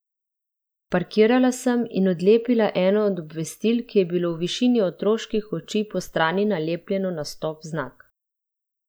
Parkirala sem in odlepila eno od obvestil, ki je bilo v višini otroških oči postrani nalepljeno na stop znak.